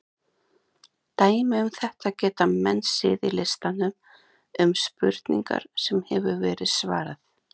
Dæmi um þetta geta menn séð í listanum um spurningar sem hefur verið svarað.